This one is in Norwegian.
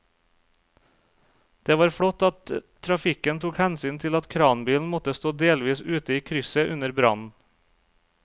Det var flott at trafikken tok hensyn til at kranbilen måtte stå delvis ute i krysset under brannen.